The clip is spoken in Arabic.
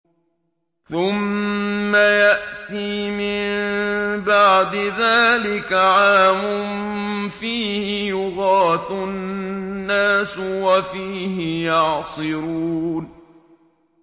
ثُمَّ يَأْتِي مِن بَعْدِ ذَٰلِكَ عَامٌ فِيهِ يُغَاثُ النَّاسُ وَفِيهِ يَعْصِرُونَ